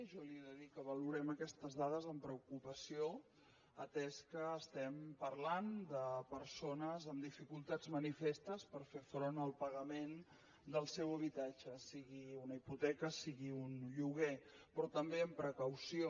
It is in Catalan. jo li he de dir que valorem aquestes dades amb preocupació atès que estem parlant de persones amb dificultats manifestes per fer front al pagament del seu habitatge sigui una hipoteca sigui un lloguer però també amb precaució